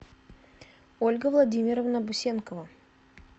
ольга владимировна бусенкова